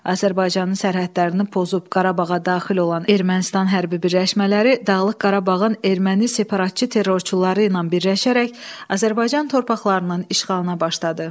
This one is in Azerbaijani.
Azərbaycanın sərhədlərini pozub Qarabağa daxil olan Ermənistan hərbi birləşmələri Dağlıq Qarabağın erməni separatçı terrorçuları ilə birləşərək Azərbaycan torpaqlarının işğalına başladı.